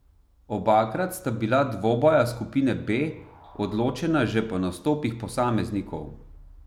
Obakrat sta bila dvoboja skupine B odločena že po nastopih posameznikov.